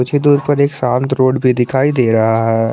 पीछे दूर पर एक शांत रोड भी दिखाई दे रहा है।